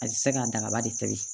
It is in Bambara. A bɛ se ka dagaba de to yen